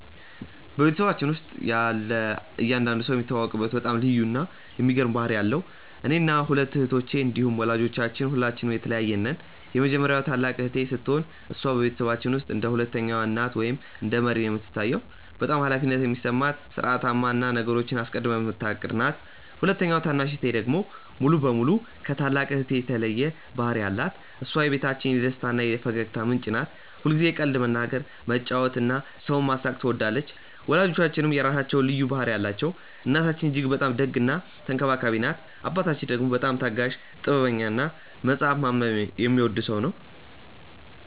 በቤተሰባችን ውስጥ ያለ እያንዳንዱ ሰው የሚታወቅበት በጣም ልዩ እና የሚገርም ባህሪ አለው። እኔና ሁለቱ እህቶቼ እንዲሁም ወላጆቻችን ሁላችንም የተለያየን ነን። የመጀመሪያዋ ታላቅ እህቴ ስትሆን፣ እሷ በቤተሰባችን ውስጥ እንደ ሁለተኛ እናት ወይም እንደ መሪ ነው የምትታየው። በጣም ኃላፊነት የሚሰማት፣ ሥርዓታማ እና ነገሮችን አስቀድማ የምታቅድ ናት። ሁለተኛዋ ታናሽ እህቴ ደግሞ ሙሉ በሙሉ ከታላቅ እህቴ የተለየ ባህሪ አላት። እሷ የቤታችን የደስታ እና የፈገግታ ምንጭ ናት። ሁልጊዜ ቀልድ መናገር፣ መጫወት እና ሰውን ማሳቅ ትወዳለች። ወላጆቻችንም የራሳቸው ልዩ ባህሪ አላቸው። እናታችን እጅግ በጣም ደግ እና ተንከባካቢ ናት። አባታችን ደግሞ በጣም ታጋሽ፣ ጥበበኛ እና መጽሐፍ ማንበብ የሚወድ ሰው ነው።